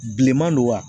Bilenman don wa